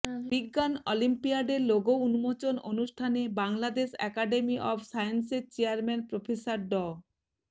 বিজ্ঞান অলিম্পিয়াডের লোগো উন্মোচন অনুষ্ঠানে বাংলাদেশ একাডেমি অব সায়েন্সের চেয়ারম্যান প্রফেসর ড